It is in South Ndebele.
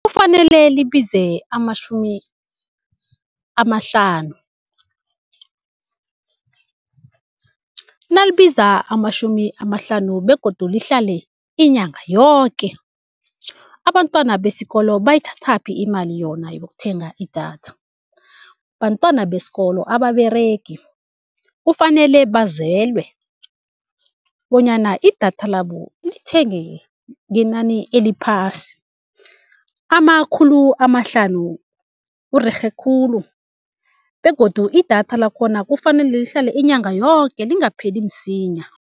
Kufanele libize amatjhumi amahlanu, nalibiza amatjhumi amahlanu begodu lihlale inyanga yoke. Abantwana besikolo bayithathaphi imali yona yokuthenga idatha, bantwana besikolo ababeregi kufanele bazelwe bonyana idatha labo lithengeke ngenani eliphasi, amakhulu amahlanu kurerhe khulu. Begodu idatha lakhona kufanele lihlale inyanga yoke lingapheli msinya.